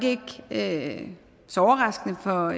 ikke så overraskende for